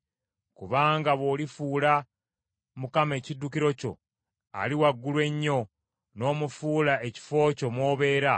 Kubanga bw’olifuula Mukama ekiddukiro kyo; Ali Waggulu Ennyo n’omufuula ekifo kyo mw’obeera,